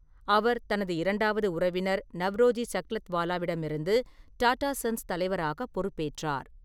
அவர் தனது இரண்டாவது உறவினர் நவ்ரோஜி சக்லத்வாலாவிடமிருந்து டாடா சன்ஸ் தலைவராக பொறுப்பேற்றார்.